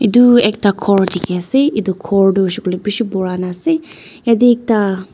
edu ekta khor dikhiase edu khor tu hoishey koilae bishi purana ase yatae ekta.